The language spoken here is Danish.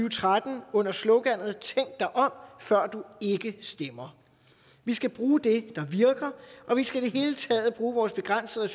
og tretten under sloganet tænk dig om før du ikke stemmer vi skal bruge det der virker og vi skal i det hele taget bruge vores begrænsede